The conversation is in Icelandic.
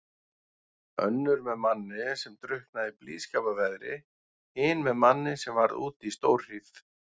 Önnur með manni sem drukknaði í blíðskaparveðri, hin með manni sem varð úti í stórhríð.